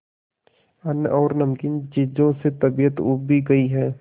अन्न और नमकीन चीजों से तबीयत ऊब भी गई है